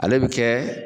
Ale bi kɛ